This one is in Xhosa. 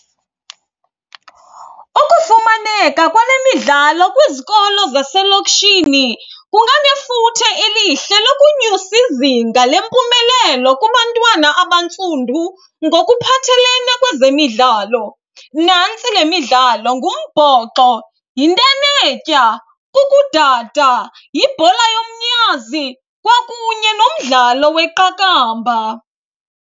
Ukufumaneka kwale midlalo kwizikolo zaselokishini kunganefuthe elihle lokunyusa izinga lempumelelo kubantwana abantsundu ngokuphathelene kwezemidlalo. Nantsi le midlalo, ngumbhoxo, yintenetya, kukudada, yibhola yomnyazi kwakunye nomdlalo weqakamba.